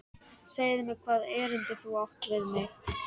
Segðu mér hvaða erindi þú átt við mig.